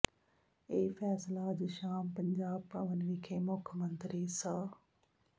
ਇਹ ਫ਼ੈਸਲਾ ਅੱਜ ਸ਼ਾਮ ਪੰਜਾਬ ਭਵਨ ਵਿਖੇ ਮੁੱਖ ਮੰਤਰੀ ਸ